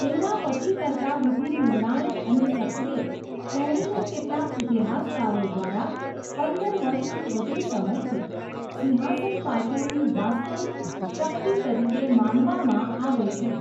તેના પતિ કરતાં વધુ નિર્ણાયક અને સક્રિય, તેણીને કેટલાક ઇતિહાસકારો દ્વારા પંદર વર્ષથી વધુ સમયથી સિંહાસન પાછળની વાસ્તવિક શક્તિ તરીકે માનવામાં આવે છે.